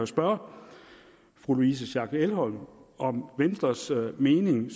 spørge fru louise schack elholm om venstres mening